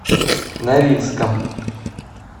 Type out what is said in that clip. норильском